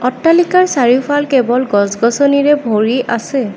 অট্টালিকা চাৰিওফাল কেৱল গছ গছনিৰে ভৰি আছে।